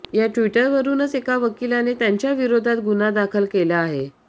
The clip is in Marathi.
या ट्विटवरुनच एका वकिलाने त्यांच्याविरोधात गुन्हा दाखल केला आहे